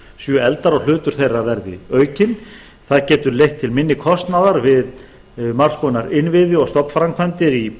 séu efldar og hlutur þeirra verði aukinn það getur leitt til minni kostnaðar við margs konar innviði og stofnframkvæmdir í